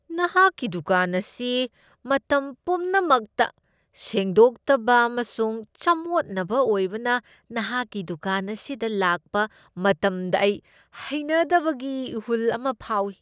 ꯅꯍꯥꯛꯀꯤ ꯗꯨꯀꯥꯟ ꯑꯁꯤ ꯃꯇꯝ ꯄꯨꯝꯅꯃꯛꯇ ꯁꯦꯡꯗꯣꯛꯇꯕ ꯑꯃꯁꯨꯡ ꯆꯃꯣꯠꯅꯕ ꯑꯣꯏꯕꯅ ꯅꯍꯥꯛꯀꯤ ꯗꯨꯀꯥꯟ ꯑꯗꯨꯗ ꯂꯥꯛꯄ ꯃꯇꯝꯗ ꯑꯩ ꯍꯩꯅꯗꯕꯒꯤ ꯏꯍꯨꯜ ꯑꯃ ꯐꯥꯎꯏ ꯫